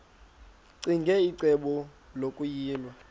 ccinge icebo lokuyilwa